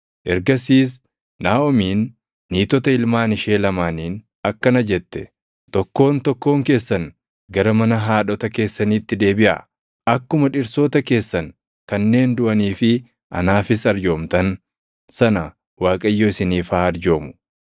Ergasiis Naaʼomiin niitota ilmaan ishee lamaaniin akkana jette; “Tokkoon tokkoon keessan gara mana haadhota keessaniitti deebiʼaa. Akkuma dhirsoota keessan kanneen duʼanii fi anaafis arjoomtan sana Waaqayyo isiniif haa arjoomu.